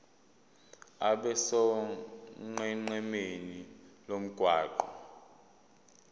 abe sonqenqemeni lomgwaqo